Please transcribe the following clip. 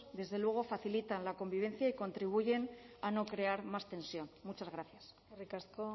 desde luego facilitan la convivencia y contribuyen a no crear más tensión muchas gracias eskerrik asko